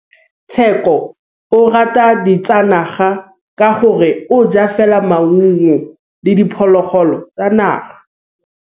Tshekô o rata ditsanaga ka gore o ja fela maungo le diphologolo tsa naga.